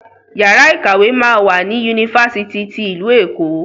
Yàrá ìkàwé máa wà ní Unilag.